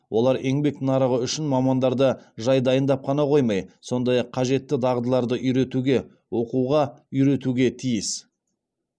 олар еңбек нарығы үшін мамандарды жай дайындап қана қоймай сондай ақ қажетті дағдыларды үйретуге оқуға үйретуге тиіс